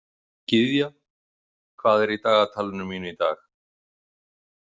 Gyðja, hvað er í dagatalinu mínu í dag?